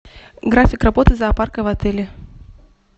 график работы зоопарка в отеле